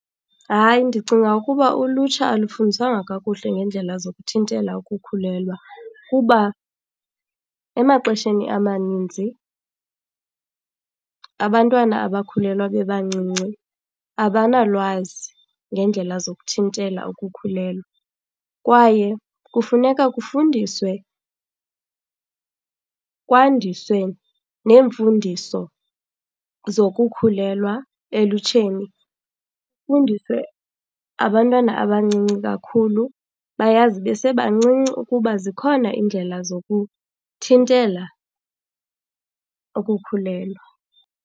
Hayi, ndicinga ukuba ulutsha alufundiswanga kakuhle ngeendlela zokuthintela ukukhulelwa kuba emaxesheni amaninzi abantwana abakhulelwa bebancinci abanalwazi ngeendlela zokuthintela ukukhulelwa. Kwaye kufuneka kufundiswe, kwandiswe neemfundiso zokukhulelwa elutsheni. Kufundiswe abantwana abancinci kakhulu, bayazi besebancinci ukuba zikhona iindlela zokuthintela ukukhulelwa.